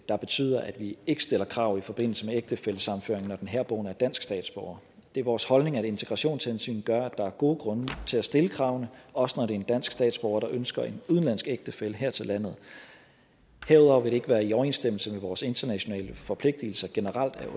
der betyder at vi ikke stiller krav i forbindelse med ægtefællesammenføring når den herboende er dansk statsborger det er vores holdning at integrationshensyn gør at der er gode grunde til at stille kravene også når det er en dansk statsborger der ønsker en udenlandsk ægtefælle her til landet herudover vil det ikke være i overensstemmelse med vores internationale forpligtigelser generelt at